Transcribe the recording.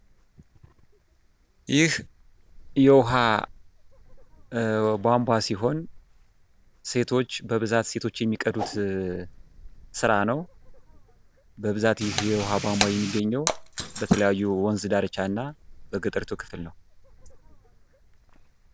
ይህ የውሃ ቧንቧ ሲሆን ሴቶች በብዛት ሴቶች የሚቀዱት ስራ ነው። በብዛት ይህ የዉሃ ቧንቧ የሚገኘው በተለያዩ የወንዝ ዳርቻና በገጠሪቱ ክፍል ነው።